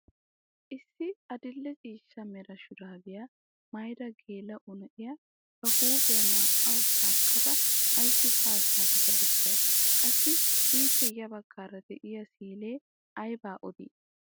Issi adil'e ciishsha mera shuraabiyaa mayida geela'o na'iyaa ba huuphphiyaa naa"awu shaakkada ayssi haa zaarada bessay? qassi ippe ya baggaara de'iyaa siilee aybaa odii?